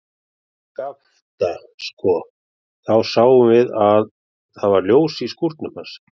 Skapta, sko, þá sáum við að það var ljós í skúrnum hans.